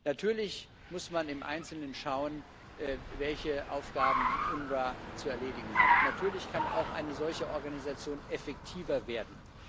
Natürlich muss man im Einzelnen schauen, welche Aufgaben das UNRWA zu erledigen hat. Natürlich kann auch eine solche Organisation effektiver werden.